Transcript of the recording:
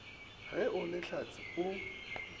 ge o le hlatse o